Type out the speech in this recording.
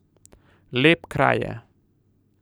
Lep kraj je.